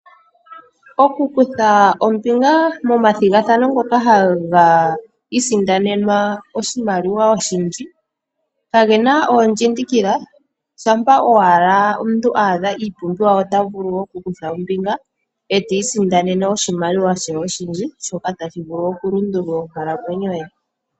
Oku kutha ombinga moma thigathano ngoka haga i sindanenwa oshimaliwa oshindji kagena oondji ndikila, shampa owala omuntu adha iipumbiwa ota vulu oku kutha ombinga, eta i sindanene oshimaliwa shoye oshindji shoka tashi vulu oku lundulula onkalamwenyo ye.